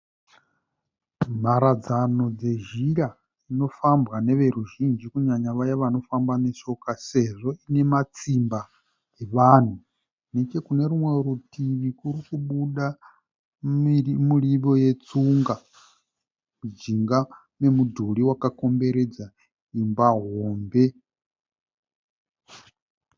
Mharadzano dzezhira inofambwa neveruzhinji kunyanya vaya vanofamba neshoka sezvo ine matsimba evanhu neche kune rumwe rutivi kuri kubuda miriwo yetsunga mujinga memudhuri wakakomberedza imba hombe.